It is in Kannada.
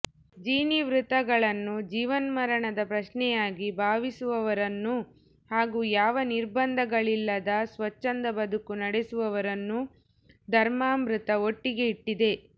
ಜಿನವ್ರತಗಳನ್ನು ಜೀವನ್ಮರಣದ ಪ್ರಶ್ನೆಯಾಗಿ ಭಾವಿಸುವವರನ್ನೂ ಹಾಗೂ ಯಾವ ನಿರ್ಬಂಧ ಗಳಿಲ್ಲದ ಸ್ವಚ್ಛಂದ ಬದುಕು ನಡೆಸುವವರನ್ನೂ ಧರ್ಮಾಮೃತ ಒಟ್ಟಿಗೆ ಇಟ್ಟಿದೆ